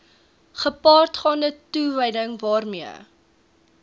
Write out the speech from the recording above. gepaardgaande toewyding waarmee